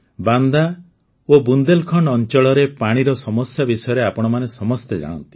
ବାନ୍ଦା ଓ ବୁନ୍ଦେଲ୍ଖଣ୍ଡ ଅଂଚଳରେ ପାଣିର ସମସ୍ୟା ବିଷୟରେ ଆପଣମାନେ ସମସ୍ତେ ଜାଣନ୍ତି